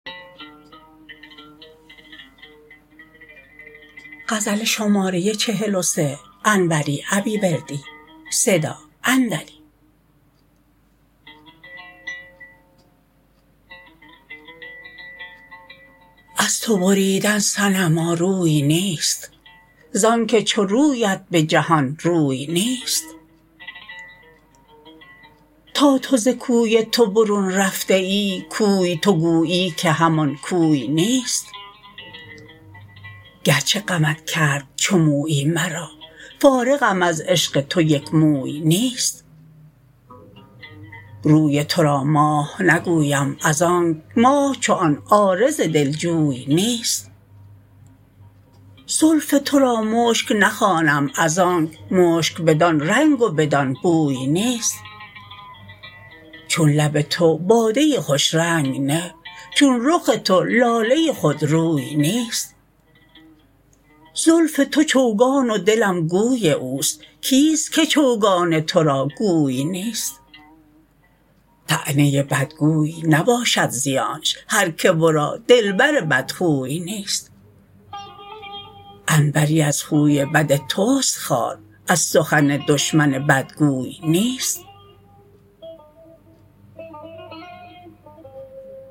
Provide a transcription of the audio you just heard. از تو بریدن صنما روی نیست زانکه چو رویت به جهان روی نیست تا تو ز کوی تو برون رفته ای کوی تو گویی که همان کوی نیست گرچه غمت کرد چو مویی مرا فارغم از عشق تو یک موی نیست روی ترا ماه نگویم از آنک ماه چو آن عارض دلجوی نیست زلف ترا مشک نخوانم از آنک مشک بدان رنگ و بدان بوی نیست چون لب تو باده خوش رنگ نه چون رخ تو لاله خود روی نیست زلف تو چوگان و دلم گوی اوست کیست که چوگان ترا گوی نیست طعنه بدگوی نباشد زیانش هرکه ورا دلبر بدخوی نیست انوری از خوی بد تست خوار از سخن دشمن بدگوی نیست